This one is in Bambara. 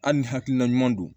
Hali ni hakilina ɲuman don